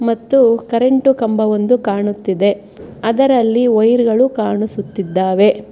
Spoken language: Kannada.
ಮತ್ತು ಕರೆಂಟು ಕಂಬವೊಂದು ಕಾಣುತ್ತಿದೆ ಅದರಲ್ಲಿ ವೈರ ಗಳು ಕಾಣಿಸುತ್ತಿದ್ದಾವೆ.